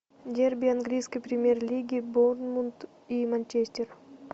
дерби английской премьер лиги борнмут и манчестер